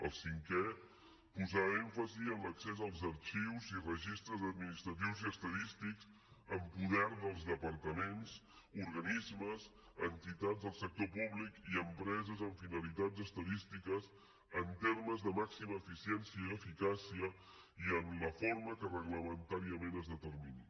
el cinquè posar èmfasi en l’accés als arxius i registres administratius i estadístics en poder dels departaments organismes entitats del sector públic i empreses amb finalitats estadístiques en termes de màxima eficiència i eficàcia i en la forma que reglamentàriament es determini